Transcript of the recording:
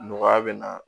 Nɔgɔya bɛ na